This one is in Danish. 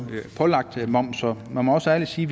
pålagt moms så man må ærligt sige